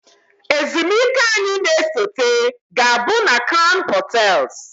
Ezumike anyị na-esote ga-abụ na kraun hotels